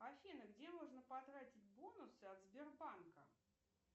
афина где можно потратить бонусы от сбербанка